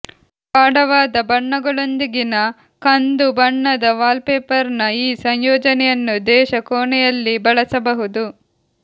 ಗಾಢವಾದ ಬಣ್ಣಗಳೊಂದಿಗಿನ ಕಂದು ಬಣ್ಣದ ವಾಲ್ಪೇಪರ್ನ ಈ ಸಂಯೋಜನೆಯನ್ನು ದೇಶ ಕೋಣೆಯಲ್ಲಿ ಬಳಸಬಹುದು